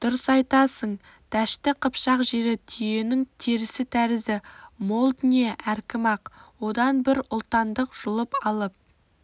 дұрыс айтасың дәшті қыпшақ жері түйенің терісі тәрізді мол дүние әркім-ақ одан бір ұлтандық жұлып алып